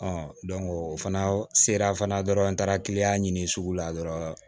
o fana sera fana dɔrɔn n taara ɲini sugu la dɔrɔn